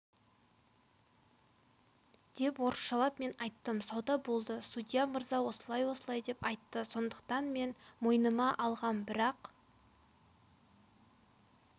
деп орысшалап мен айттым сауда болды судья мырза осылай-осылай деп айтты сондықтан мен мойныма алғам бірақ